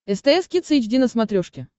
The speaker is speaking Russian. стс кидс эйч ди на смотрешке